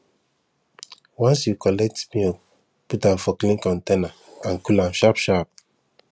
once you collect milk put am for clean container and cool am sharp sharp